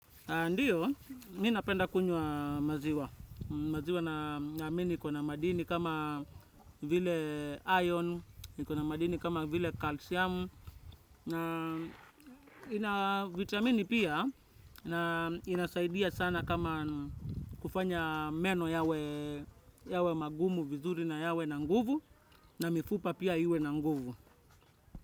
Ndiyo, minapenda kunywa maziwa. Maziwa naamini iko na madini kama vile iron, iko na madini kama vile kalsiamu. Vitamini pia, inasaidia sana kama kufanya meno yawe magumu vizuri na yawe nanguvu, na mifupa pia iwe nanguvu.